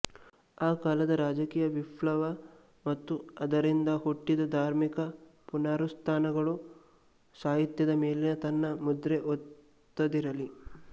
ಆ ಕಾಲದ ರಾಜಕೀಯ ವಿಪ್ಲವ ಮತ್ತು ಆದರಿಂದ ಹುಟ್ಟಿದ ಧಾರ್ಮಿಕ ಪುನರುತ್ಥಾನಗಳು ಸಾಹಿತ್ಯದ ಮೇಲೆ ತನ್ನ ಮುದ್ರೆ ಒತ್ತದಿರಲಿಲ್ಲ